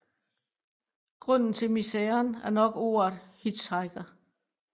Grunden til miseren er nok ordet Hitchhiker